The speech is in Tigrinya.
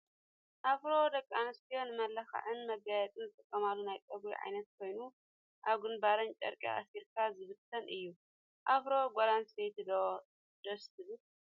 ኣፍሮ ደቂ ኣንስትዮ ንመመላክዕን መጋየፂን ዝጥቀማሉ ናይ ፀጉሪ ዓይነት ኮይኑ፣ ኣብ ግንባር ጨርቂ ኣስሪካ ዝብተን እዩ። ኣፍሮ ጓል ኣንስተቲ ደስ ዶ ትብል?